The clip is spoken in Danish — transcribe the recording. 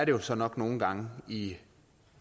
jo så nok nogle gange i